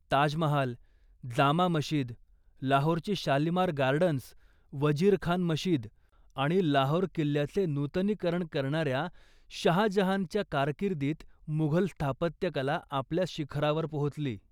ताजमहाल, जामा मशीद, लाहोरची शालीमार गार्डन्स, वजीर खान मशीद आणि लाहोर किल्ल्याचे नूतनीकरण करणाऱ्या शाहजहानच्या कारकिर्दीत, मुघल स्थापत्यकला आपल्या शिखरावर पोहोचली.